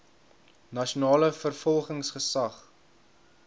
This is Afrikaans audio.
nasionale vervolgingsgesag nvg